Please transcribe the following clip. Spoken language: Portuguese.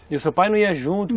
E o seu pai não ia junto?